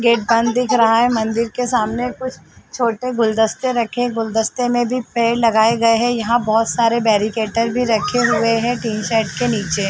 Gate बंद दिख रहा है। मंदिर के सामने कुछ छोटे गुलदस्ते रखे गुलदस्ते में भी पेड़ लगाए गए हैं। यहाँ बोहोत सारे बैरिकेटर भी रखे हुए हैं। टीन शेड के नीचे।